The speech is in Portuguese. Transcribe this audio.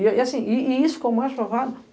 E assim, e isso ficou mais provado.